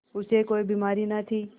उसे कोई बीमारी न थी